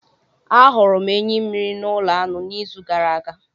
Ahụrụ m enyi mmiri na ulo anu n'izu gara aga